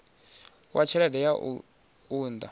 wa tshelede ya u unḓa